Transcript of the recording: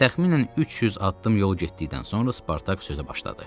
Təxminən 300 addım yol getdikdən sonra Spartak sözə başladı.